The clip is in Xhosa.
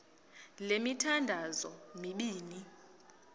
le mithandazo mibini